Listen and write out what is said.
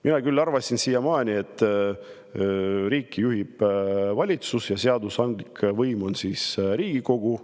Mina küll arvasin siiamaani, et riiki juhib valitsus, aga seadusandlik võim on Riigikogu.